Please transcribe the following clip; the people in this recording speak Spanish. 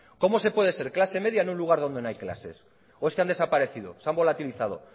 cómo se puede ser clase media en un lugar donde no hay clases o es que han desaparecido se han volatilizado